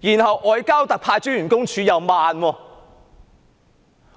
裏，而外交部駐港特派員公署的反應亦緩慢。